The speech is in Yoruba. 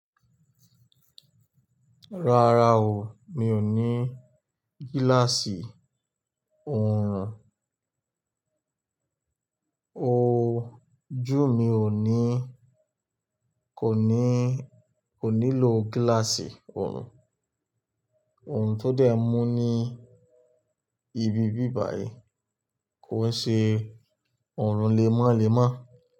Rárá o, mi ò ní gíláàsì oorun. O jú mi ò ní, kò ní, kò nílò gíláàsì oorun. Oorun tó dé mú ní ibi bí báyìí kò ṣe oorun lémálémá.